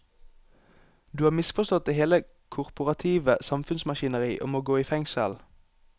Du har misforstått hele det korporative samfunnsmaskineri og må gå i fengsel.